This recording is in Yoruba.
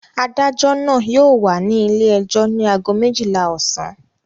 Adájọ́ náà yóò wà ní ilé-ẹjọ́ ní ago méjìlá ọ̀sán.